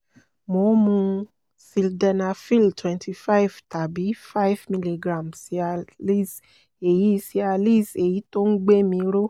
mo ń mu sildenafil twenty five tàbí five miligram cialis èyí cialis èyí tó ń gbé mi ró